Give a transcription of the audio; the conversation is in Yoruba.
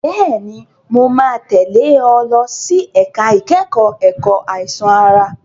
Bẹ́ẹ̀ni, mo máa tẹ̀lé ọ lọ sí ẹ̀ka ìkẹ́kọ̀ọ́ ẹ̀kọ́ àìsàn ara.